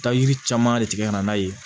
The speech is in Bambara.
Taa yiri caman de tigɛ ka na n'a ye